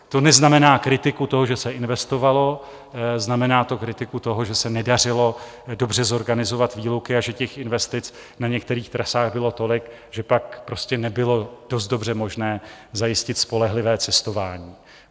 To neznamená kritiku toho, že se investovalo, znamená to kritiku toho, že se nedařilo dobře zorganizovat výluky a že těch investic na některých trasách bylo tolik, že pak prostě nebylo dost dobře možné zajistit spolehlivé cestování.